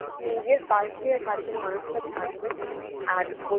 নিজের পাশে কাছের মানুষটা থাকবে আর